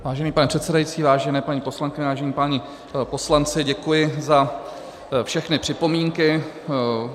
Vážený pane předsedající, vážené paní poslankyně, vážení páni poslanci, děkuji za všechny připomínky.